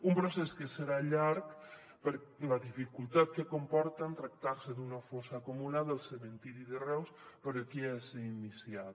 un procés que serà llarg per la dificultat que comporta en tractar se d’una fossa comuna del cementiri de reus però que ja s’ha iniciat